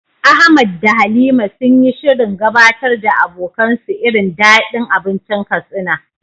Ahmad da Halima sun yi shirin gabatar da abokansu irin dadin abincin Katsina.